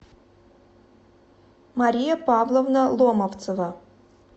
мария павловна ломовцева